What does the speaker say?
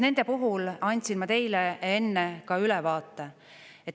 Nende puhul ma andsin teile enne ka ülevaate.